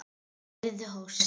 Hún heyrði hósta.